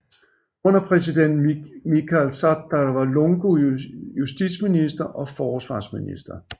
Under præsident Michael Sata var Lungu justitsminister og forsvarsminister